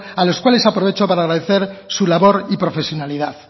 a los cuales aprovecho para agradecer su labor y profesionalidad